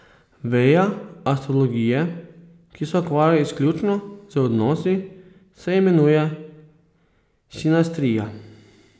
Veja astrologije, ki se ukvarja izključno z odnosi, se imenuje sinastrija.